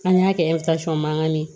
An y'a kɛ mankan ye